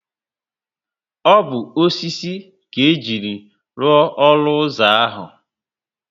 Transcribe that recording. O bu osisi ka ejiri lụọ olu ụzọ ahu